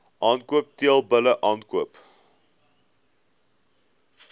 aankoop teelbulle aankoop